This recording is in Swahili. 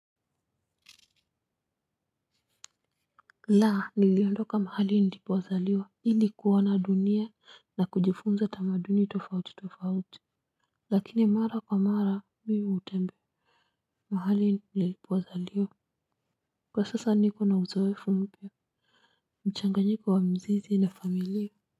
Laa niliondoka mahali nilipozaliwa ili kuona dunia na kujifunza tamaduni tofauti tofauti lakini mara kwa mara miuhutembe mahali nilipozaliwa kwa sasa niko na uzoefu mpya mchanganyiko wa mzizi na familia.